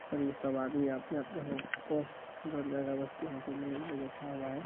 और ये सब आदमी अपने अपने अगरबत्ती हाथ में लिए हुए बैठा हुआ है !